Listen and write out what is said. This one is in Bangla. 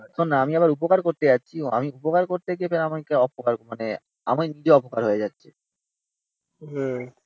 শোন না আমি আবার উপকার করতে যাচ্ছি কিন্তু আমি উপকার করত গিয়ে অপকার মানে আমি নিজে অপকার হয়ে যাচ্ছি।